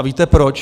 A víte proč?